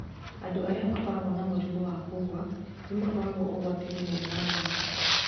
Andũ arĩa makoragwo na mũrimũ wa kũgũa nĩ makoragwo ũgwati-inĩ me maaĩ-inĩ.